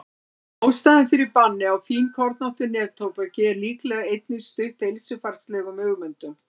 ástæðan fyrir banni á fínkornóttu neftóbaki er líklega einnig stutt heilsufarslegum hugmyndum